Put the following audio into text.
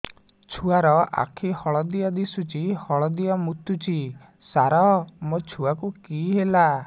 ଛୁଆ ର ଆଖି ହଳଦିଆ ଦିଶୁଛି ହଳଦିଆ ମୁତୁଛି ସାର ମୋ ଛୁଆକୁ କି ହେଲା